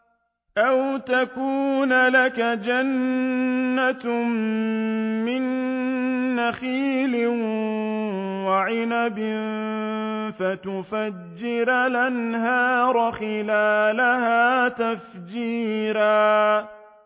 أَوْ تَكُونَ لَكَ جَنَّةٌ مِّن نَّخِيلٍ وَعِنَبٍ فَتُفَجِّرَ الْأَنْهَارَ خِلَالَهَا تَفْجِيرًا